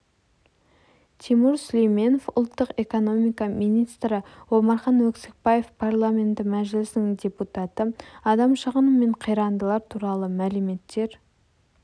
тимур сүлейменов ұлттық экономика министрі омархан өксікбаев парламенті мәжілісінің депутаты адам шығыны мен қирандылар туралы мәліметтер